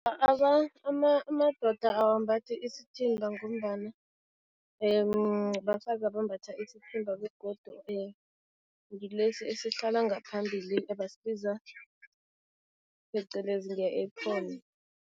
Amadoda awambathi isithimba ngombana bafazi abambatha isithimba begodu ngilesi esihlala ngaphambili ebasibiza phecelezi nge-apron.